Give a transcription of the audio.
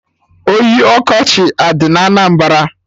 Oyi ọkọchị adị na Anambra?